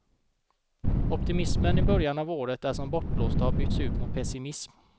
Optimismen i början av året är som bortblåst och har bytts ut mot pessimism.